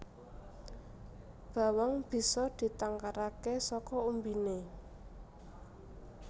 Bawang bisa ditangkaraké saka umbiné